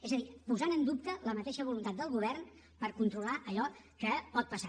és a dir posant en dubte la mateixa voluntat del govern per controlar allò que pot passar